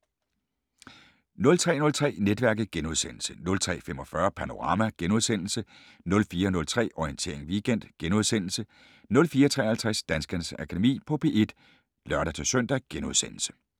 03:03: Netværket * 03:45: Panorama * 04:03: Orientering Weekend * 04:53: Danskernes Akademi på P1 *(lør-søn)